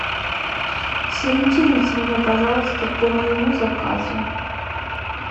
сориентируйте меня пожалуйста по моему заказу